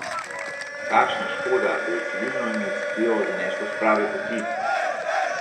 Kakšna škoda, da je civilno iniciativo zaneslo s prave poti!